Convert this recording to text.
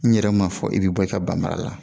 N yɛrɛ ma fɔ i bɛ bɔ i ka ban mara la